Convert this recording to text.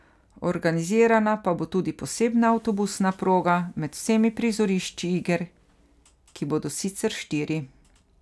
Organizirana pa bo tudi posebna avtobusna proga med vsemi prizorišči iger, ki bodo sicer štiri.